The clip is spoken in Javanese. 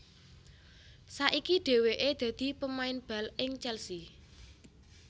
Saiki dhèwèké dadi pemain bal ing Chelsea